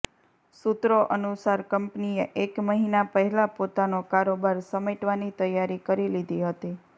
સૂત્રો અનુસાર કંપનીએ એક મહીના પહેલા પોતાનો કારોબાર સમેટવાની તૈયારી કરી લીધી હતી